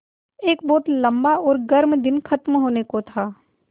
एक बहुत लम्बा और गर्म दिन ख़त्म होने को था